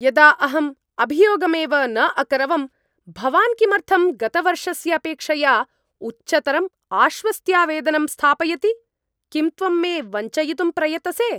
यदा अहम् अभियोगमेव न अकरवम्, भवान् किमर्थं गतवर्षस्य अपेक्षया उच्चतरम् आश्वस्त्यावेदनं स्थापयति? किं त्वं मे वञ्चयितुं प्रयतसे?